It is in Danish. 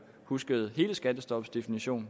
husket hele skattestopsdefinitionen